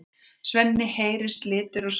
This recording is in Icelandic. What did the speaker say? Svenni heyrir slitur úr samtölunum.